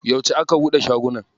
Yauce aka buɗe shagunan?